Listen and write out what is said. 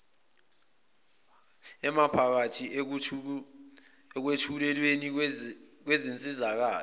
emiphakathi ekwethulweni kwensizakalo